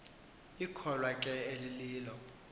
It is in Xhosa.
ikholwa ke elililo